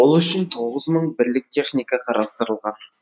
ол үшін тоғыз мың бірлік техника қарастырылған